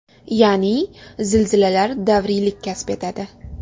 Ya’ni, zilzilalar davriylik kasb etadi.